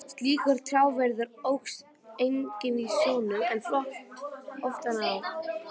Slíkur trjáviður óx einnig í sjónum, en flaut ofan á.